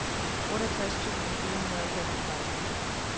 otteogtres tusind fire hundrede og femogtredive